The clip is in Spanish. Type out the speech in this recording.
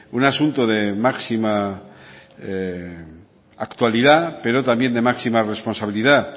un asunto de máxima actualidad pero también de máxima responsabilidad